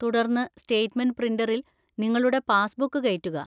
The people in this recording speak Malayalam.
തുടർന്ന് സ്റ്റേറ്റ്മെന്റ് പ്രിന്ററിൽ നിങ്ങളുടെ പാസ്ബുക്ക് കയറ്റുക.